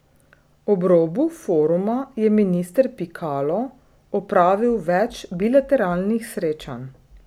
Ob robu foruma je minister Pikalo opravil več bilateralnih srečanj.